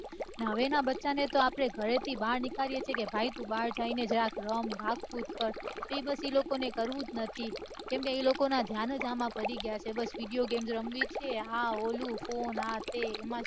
હવે ના બચ્ચા ને આપડે ઘરે થી બહાર નીકળીએ ભાઈ તું બહાર જા રમ ભાગ કુદ તે બઘુ લોકો ને કરવું જ નથી કેમકે એ લોકો ના ઘ્યાનેજ આમાં પડી ગયા છે બસ video game રમવી છે પેલો phone આ તે